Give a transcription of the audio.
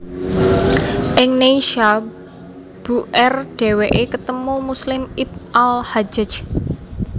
Ing Neysha bu r dhèwèké ketemu Muslim ibn al Hajjaj